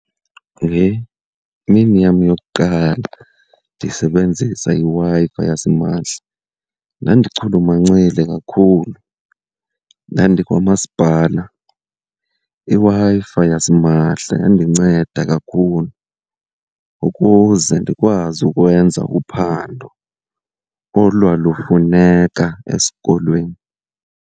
Ngemini yam yokuqala ndisebenzisa iWi-Fi yasimahla, ndandichulumancile kakhulu. Ndandikwa masipala iWi-Fi yasimahla yandinceda kakhulu ukuze ndikwazi ukwenza uphando olwalufuneka esikolweni.